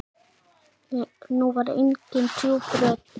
Nú var engin djúp rödd.